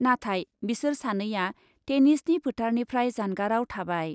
नाथाय बिसोर सानैआ टेनिसनि फोथारनिफ्राय जानगारआव थाबाय।